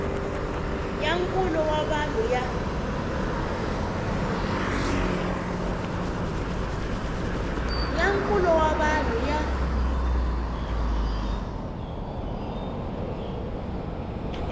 ya nkulo wa vanhu ya